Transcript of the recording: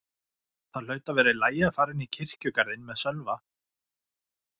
Það hlaut að vera í lagi að fara inn í kirkjugarðinn með Sölva.